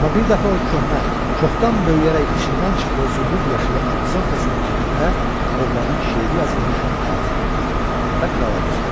Amma bir dəfə o köhnə, çoxdan böyüyərək içindən çıxdığı zümrüd yaşılı Amazonkasının cibində oğlanın şeiri yazılmış kağızı tapdı və krala göstərdi.